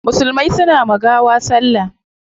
Musulmai suna wa gawa salla